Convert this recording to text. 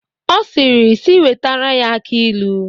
Ọ sịrị sị wetere ya aki ilu.